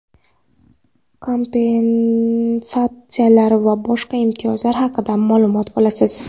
kompensatsiyalar va boshqa imtiyozlar haqida maʼlumot olasiz.